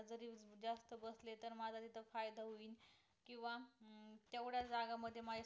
केंव्हा तेवढ जागा मध्ये